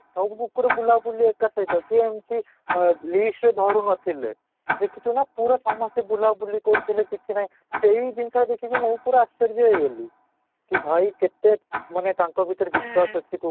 ସବୁ କୁକୁର ବୁଲାବୁଲି ଏକ ସହିତ କେମିତି ଆଃ ଧରୁ ନ ଥିଲେ, ଦେଖିଛୁ ନା ପୁରା ସମସ୍ତେ ବୁଲାବୁଲି କରୁଥିଲେ କିଛି ନାଇଁ ସେଇ ଜିନିଷ ଦେଖି କି ମୁଁ ପୁରା ଆଶ୍ଚର୍ଯ୍ୟ ହେଇଗଲି କି ଭାଇ କେତେ ମାନେ ତାଙ୍କ ଭିତରେ ବିଶ୍ୱାସ ଅଛି